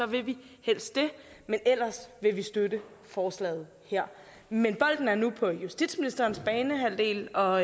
vil vi helst det men ellers vil vi støtte forslaget her men bolden er nu på justitsministerens banehalvdel og